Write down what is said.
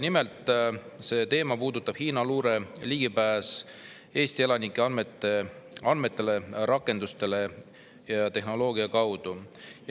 Nimelt, selle teema puudutab Hiina luure ligipääsu Eesti elanike andmetele rakenduste ja tehnoloogia kaudu.